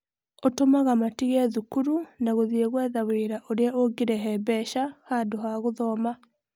ũtũmaga matige thukuru na gũthiĩ gwetha wĩra ũrĩa ũngĩrehe mbeca handũ wa gũthoma.